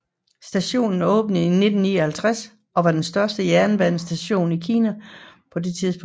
Stationen åbnede i 1959 og var den største jernbanestation i Kina på det tidspunkt